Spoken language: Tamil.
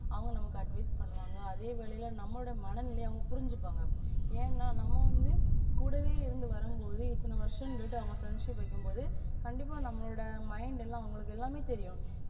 அவங்க நம்மளுக்கு advice பண்ணுவாங்க அதே வேலைல நம்மளோட மனநிலைய அவங்க புரிஞ்சிப்பாங்க ஏன்னா நம்ம வந்து கூடவே இருந்து வரும்போது இத்தன வருஷம்ண்டு அவங்க friendship அ வக்கிம்போது கண்டிப்பா நம்மலோட mind எல்லாம் அவங்களுக்கு எல்லாமே தெரியும்